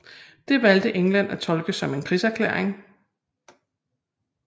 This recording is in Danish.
Det valgte England at tolke som en krigserklæring